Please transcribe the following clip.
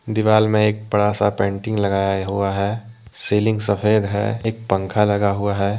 दीवाल में एक बड़ा सा पेंटिंग लगाया हुआ है सीलिंग सफेद है एक पंखा लगा हुआ है।